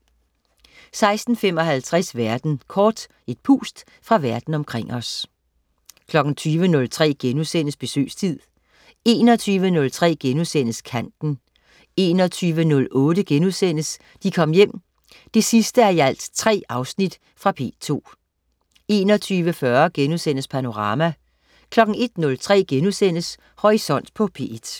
16.55 Verden kort. Et pust fra Verden omkring os 20.03 Besøgstid* 21.03 Kanten* 21.08 De Kom Hjem 3:3.* Fra P2 21.40 Panorama* 01.03 Horisont på P1*